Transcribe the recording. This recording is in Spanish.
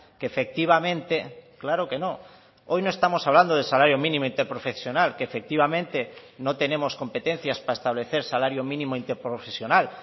que efectivamente claro que no hoy no estamos hablando del salario mínimo interprofesional que efectivamente no tenemos competencias para establecer salario mínimo interprofesional